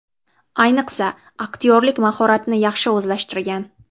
Ayniqsa aktyorlik mahoratini yaxshi o‘zlashtirgan.